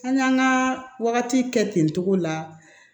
An y'an ka wagati kɛ ten togo la